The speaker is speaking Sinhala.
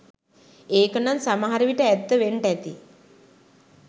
ඒකනං සමහරවිට ඇත්ත වෙන්ටැති